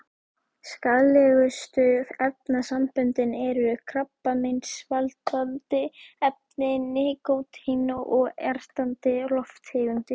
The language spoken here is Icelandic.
Skaðlegustu efnasamböndin eru: krabbameinsvaldandi efni, nikótín og ertandi lofttegundir.